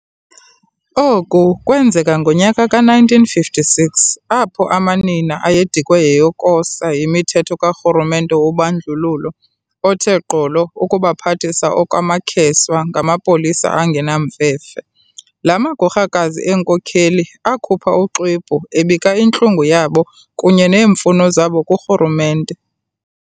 Oku kwenzeka ngonyaka ka-1956, apho amanina ayedikwe yiyokosa yimithetho ka Rhulumente wobandlululo othe gqolo ukubaphathisa okwamakheswa ngamapolisa angenamfefe. La magorhakazi eenkokheli akhupha uxwebhu ebika intlungu yabo kunye neemfuno zabo kurhulumente.